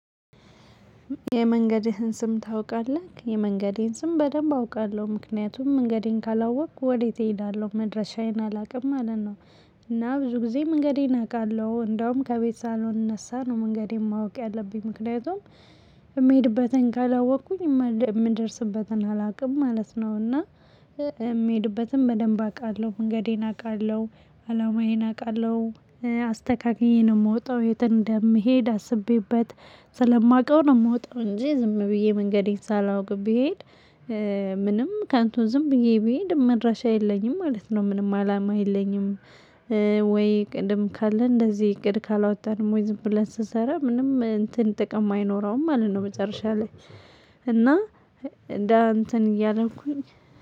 የመንገድህን ስም ታውቃለህ? የመንገዴን ስም በደንብ አውቃለሁ ምክንያቱም መንገዴን ካላወቅክ ወዴት እሄዳለሁ መድረሻዬን አላቅም ማለት ነው እና ብዙ ጊዜ መንገዴን አቃለሁ እንደውም ከቤት ሳሎን ነሳ ነው መንገድ የማውቅ ያለብኝ ምክንያቱም የምሄድበትን ካላወቅኩኝ የም የምደርስበትን አላውቅም ማለት ነው እና የምሄድበትም በደንብ አውቃለሁ መንገዴን አቃለሁ አላማዬን አቃለሁ አስተካክዬን የምወጣው የት እንደምሄድ አስቤበት ስለማውቀው ነው የምወጣው እንጂ ዝም ብዬ መንገዴን ሳላውቅ ብሄድ ምንም ከንቱን ዝም ብዬ ብሄድ መድረሻ የለኝም ማለት ነው ምንም አላማ የለኝም ወይ ቅድም ካለ እንደዚህ እቅድ ካላወጣንም ወይ ዝም ብለን ስሰራ ምንም እንትን ጥቅም አይኖረውም ማለት ነው መጨረሻ ላይ እና እንደ እንትን እያለንኩኝ